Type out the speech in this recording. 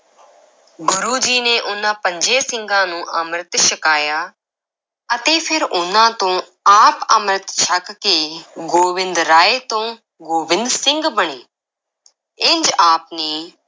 ਗੁਰੂ ਜੀ ਨੇ ਉਨ੍ਹਾਂ ਪੰਜੇ ਸਿੰਘਾਂ ਨੂੰ ਅੰਮ੍ਰਿਤ ਛਕਾਇਆ ਅਤੇ ਫਿਰ ਉਨ੍ਹਾਂ ਤੋਂ ਆਪ ਅੰਮ੍ਰਿਤ ਛਕ ਕੇ ਗੋਬਿੰਦ ਰਾਏ ਤੋਂ ਗੋਬਿੰਦ ਸਿੰਘ ਬਣੇ ਇੰਜ ਆਪ ਨੇ